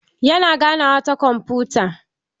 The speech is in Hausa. Yana ganawa ta kwamfuta.